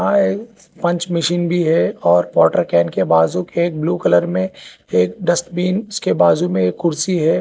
वहां एक punch machine भी है और वॉटर कैन के बाजू के एक ब्लू कलर में एक डस्टबिन उसके बाजू में एक कुर्सी है।